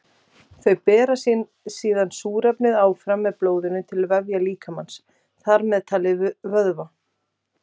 Þau bera síðan súrefnið áfram með blóðinu til vefja líkamans, þar með talið vöðva.